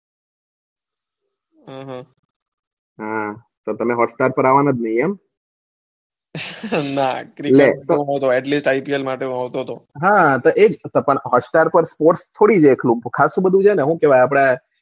એહે અમ હા તમે hotstar પર અવાના જ નથી એમ ના ખાલી ipl માટે જ આવતો હતો. હા એજ પણ hotstar પર ખાલી sports થોડું છે ખાશું બધું છે ને હું કેવાય આપણે, હમ